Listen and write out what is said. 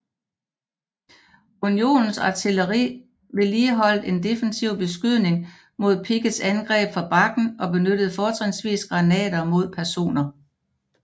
Unionens artilleri vedligeholdt en defensiv beskydning mod Picketts angreb fra bakken og benyttede fortrinsvis granater mod peroner